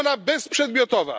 jest ona bezprzedmiotowa.